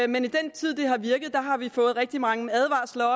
men i den tid det har virket har vi fået rigtig mange advarsler